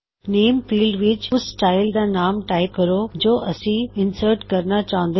ਨੇਮਨਾਮੇਫੀਲਡ ਵਿੱਚ ਉਸ ਸਟਾਇਲ ਦਾ ਨਾਮ ਟਾਇਪ ਕਰੋ ਜੋ ਅਸੀ ਇਨਸਰਟ ਕਰਨਾ ਚਾਹੁੰਦੇ ਹਾਂ